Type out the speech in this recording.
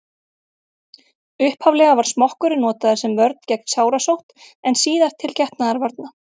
upphaflega var smokkurinn notaður sem vörn gegn sárasótt en síðar til getnaðarvarna